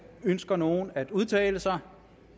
ønsker nogen at udtale sig